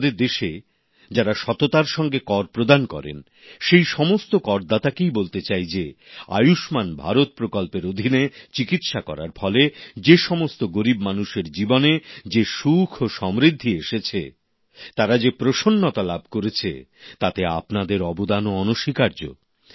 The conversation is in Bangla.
আমাদের দেশে যারা সততার সঙ্গে কর প্রদান করেন সেই সমস্ত করদাতাকে বলতে চাই যে আয়ুষ্মান ভারত প্রকল্পের অধীনে চিকিৎসা করার ফলে যে সমস্ত গরিব মানুষের জীবনে যে সুখ ও সমৃদ্ধি এসেছে তারা যে সুবিধা লাভ করেছে তাতে আপনাদের অবদানও অনস্বীকার্য